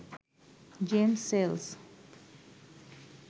James sales